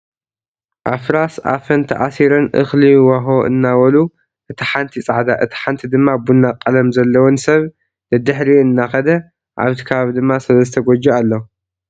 ኣፍራስ ኣፈን ተኣሲረን እክሊ ዎሆ እናበሉ እታ ሓንቲ ፃዕዳ እታ ሓንቲ ድማ ቡና ቀለም ዘለወን ሰብ ደድሕሪአን እና ከደ ኣብቲ ከባቢ ድማ ሰለስተ ጎጆ ኣሎ።